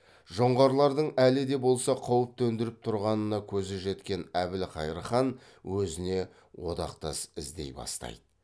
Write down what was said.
жоңғарлардың әлі де болса қауіп төндіріп тұрғанына көзі жеткен әбілқайыр хан өзіне одақтас іздей бастайды